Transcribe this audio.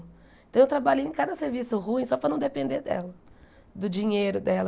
Então, eu trabalhei em cada serviço, ruim, só para não depender dela, do dinheiro dela.